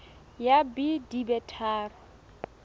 ya b di be tharo